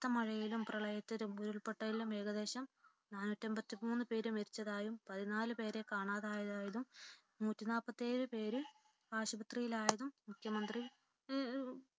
കനത്ത മഴയിലും പ്രളയത്തിലും ഉരുൾപൊട്ടലിലും ഏകദേശം നാനൂറ്റിഅൻപത്തിമൂന്നു പേർ മരിച്ചതായും പതിനാലുപേരെ കാണാതായതായും നൂറ്റിനാല്പത്തിയേഴു പേർ ആശുപത്രിയിലായതായും മുഖ്യമന്ത്രി